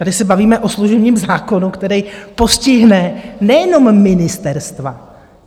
Tady se bavíme o služebním zákonu, který postihne nejenom ministerstva.